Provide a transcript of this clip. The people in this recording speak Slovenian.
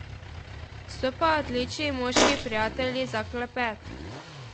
So pa odlični moški prijatelji za klepet.